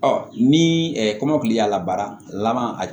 ni kɔmɔkili y'a labaara laban a